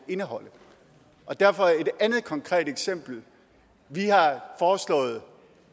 indeholde derfor et andet konkret eksempel vi har foreslået